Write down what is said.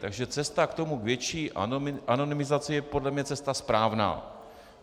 Takže cesta k tomu, k větší anonymizaci, je podle mě cesta správná.